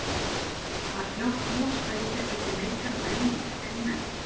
Var fljótt ljóst að í þér byggi leikari og grínari?